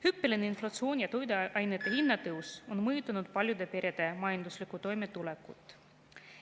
Hüppeline inflatsioon ja toiduainete hinna tõus on mõjutanud paljude perede majanduslikku toimetulekut.